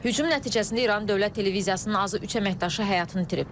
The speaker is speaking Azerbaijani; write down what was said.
Hücum nəticəsində İran Dövlət Televiziyasının azı üç əməkdaşı həyatını itirib.